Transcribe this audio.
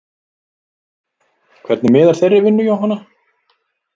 Hvernig miðar þeirri vinnu Jóhanna?